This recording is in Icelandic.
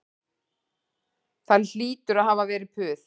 Það hlýtur að hafa verið puð